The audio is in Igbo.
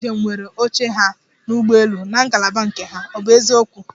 Ndi njem nwere oche ha n'ụgbọelu na ngalaba nke ha, ọ bụ eziokwu?